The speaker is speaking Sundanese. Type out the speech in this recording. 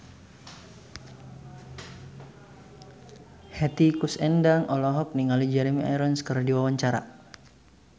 Hetty Koes Endang olohok ningali Jeremy Irons keur diwawancara